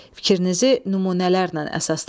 Fikrinizi nümunələrlə əsaslandırın.